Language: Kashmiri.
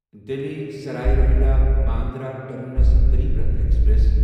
Delhi Sarai Rohilla Bandra terminus Garib Rath express